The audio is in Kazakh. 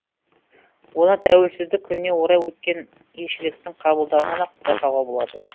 оны тәуелсіздік күніне орай өткен елшіліктің қабылдауынан ақ байқауға болады